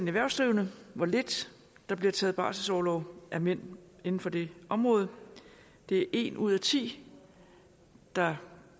erhvervsdrivende hvor lidt der bliver taget barselsorlov af mænd inden for det område det er en ud af ti der